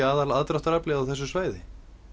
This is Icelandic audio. aðal aðdráttaraflið á þessu svæði